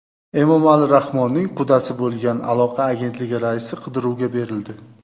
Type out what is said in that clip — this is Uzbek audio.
Emomali Rahmonning qudasi bo‘lgan Aloqa agentligi raisi qidiruvga berildi.